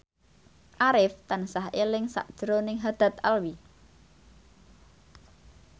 Arif tansah eling sakjroning Haddad Alwi